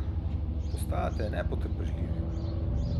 Postajate nepotrpežljivi.